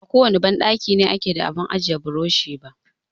Ba kowane banɗaki ne yake da abun ajiye burushi ba.